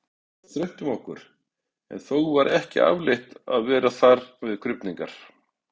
var þröngt um okkur, en þó var ekki afleitt að vera þar við krufningarnar.